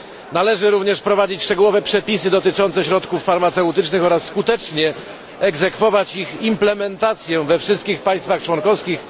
Należy również wprowadzić szczegółowe przepisy dotyczące środków farmaceutycznych oraz skutecznie egzekwować ich implementację we wszystkich państwach członkowskich.